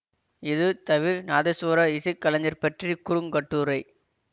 இது தவில் நாதசுவர இசை கலைஞர் பற்றிய குறுங்கட்டுரை